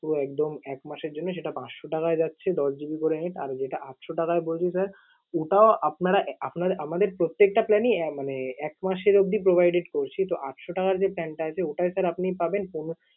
পুরো একদম এক মাস এর জন্য সেটা পাঁচশো টাকায় যাচ্ছে দশ GB করে net । আর যেটা আটশো টাকায় বলছি sir ওটাও আপনারা আহ আপনারা~ আমাদের প্রত্যেকটা plan এই আহ মানে এক মাসের অব্দি provided করছি। তো আটশো টাকার যে plan টা আছে, ওটায় sir আপনি পাবেন পনেরো